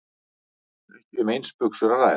Ekki um eins buxur að ræða